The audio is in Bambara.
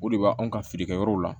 O de b'anw ka feerekɛyɔrɔw la